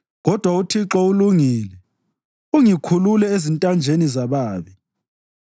Kodwa uThixo ulungile; ungikhulule ezintanjeni zababi.